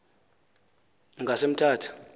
ngasemthatha